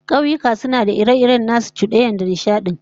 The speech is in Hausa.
Kauyuka suna da ire-iren nasu cudanyar da nishadin